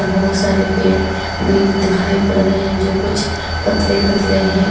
बहुत सारे पेड़ भी दिखाई पड़ रहे है जो कुछ पतले पतले है।